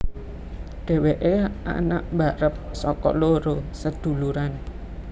Dheweke anak barep saka loro seduluran